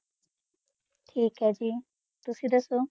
ਥੇਕ ਹੈਂ ਜੀ ਤੁਸੀਂ ਦਾਸੁ